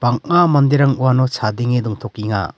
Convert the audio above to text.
bang·a manderang uano chadenge dongtokenga.